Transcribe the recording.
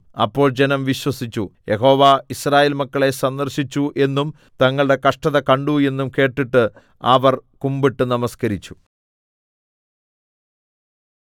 അപ്പോൾ ജനം വിശ്വസിച്ചു യഹോവ യിസ്രായേൽ മക്കളെ സന്ദർശിച്ചു എന്നും തങ്ങളുടെ കഷ്ടത കണ്ടു എന്നും കേട്ടിട്ട് അവർ കുമ്പിട്ട് നമസ്കരിച്ചു